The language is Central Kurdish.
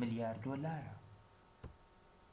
ملیار دۆلارە